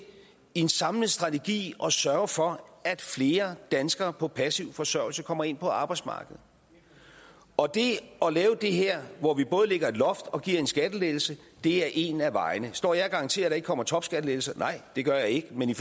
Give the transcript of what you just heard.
en samlet strategi at sørge for at flere danskere på passiv forsørgelse kommer ind på arbejdsmarkedet og det at lave det her hvor vi både lægger et loft og giver en skattelettelse er en af vejene står jeg og garanterer at der ikke kommer topskattelettelser nej det gør jeg ikke men i